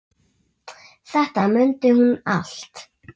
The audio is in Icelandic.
Þetta mundi hún allt.